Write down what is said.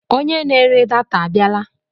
Onye na-ere data abịala?